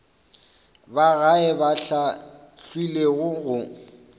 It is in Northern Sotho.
ba gae ba hlahlilwego go